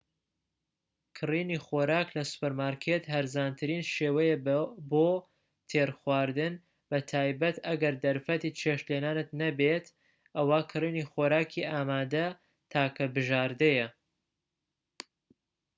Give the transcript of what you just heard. کڕینی خۆراک لە سوپەرمارکێت هەرزانترین شێوەیە بۆ تێرخواردن بەتایبەت ئەگەر دەرفەتی چێشت لێنانت نەبێت ئەوا کڕینی خۆراکی ئامادە تاکە بژاردەیە